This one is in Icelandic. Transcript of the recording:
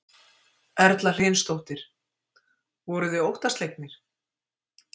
Erla Hlynsdóttir: Voruð þið óttaslegnir?